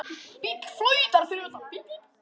Bíll flautar fyrir utan.